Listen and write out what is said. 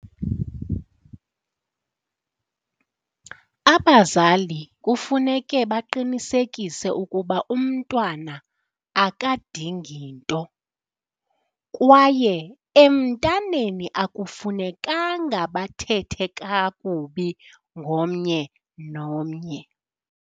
Abazali kufuneke baqinisekise ukuba umntwana akadingi nto kwaye emntaneni akufunekanga bathethe kakubi ngomnye nomnye.